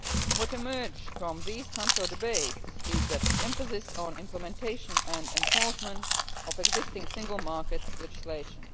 What emerges from these Council debates is the emphasis on implementation and enforcement of existing single market legislation.